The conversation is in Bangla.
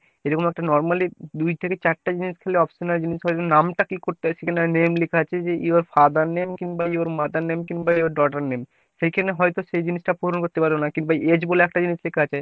এরকম একটা normally দুই থেকে চারটা জিনিস খালি option জিনিস হলো নামটা কি করতে হয় সেখানে name লিখা আছে যে your father name কিংবা your mother name কিংবা your daughter name সেইখানে হয়তো সেই জিনিসটা পূরণ করতে পারলো না। কিন্তু age বলে একটা জিনিস লেখা আছে।